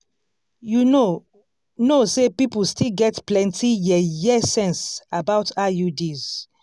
you know know say people still get plenty yeye sense about iuds